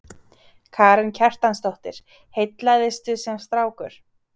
Karen Kjartansdóttir: Heillaðistu sem strákur?